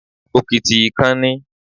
Òkìtì ìkan ni.